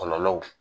Kɔlɔlɔw